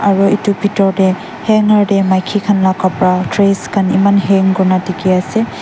aru etu bethor te hanger te maiki khan laga kapara dress khan eman hang kori na dekhi ase.